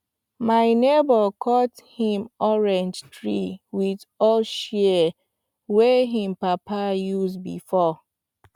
my neighbor cut him orange tree with old shears wey him papa use before